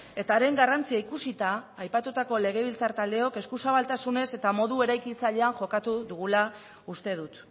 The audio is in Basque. eta haren garrantzia ikusita aipatutako legebiltzar taldeok eskuzabaltasunez eta modu eraikitzailean jokatu dugula uste dut